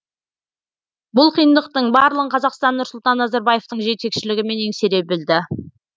бұл қиындықтың барлығын қазақстан нұрсұлтан назарбаевтың жетекшілігімен еңсере білді